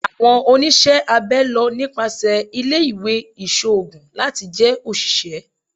Awọn oniṣẹ abẹ lọ nipasẹ ile-iwe iṣoogun lati jẹ oṣiṣẹ